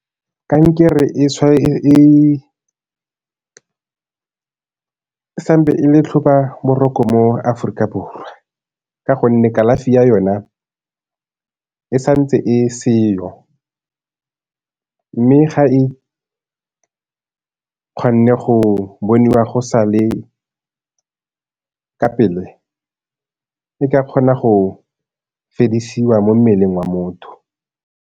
Kankere e sa ntse e le tlhobaboroko mo Aforika Borwa ka gonne kalafi ya yona e sa ntse e seo mme ga go bonwa go sa le ka pele e ka kgona go fedisiwa mo mmeleng wa motho.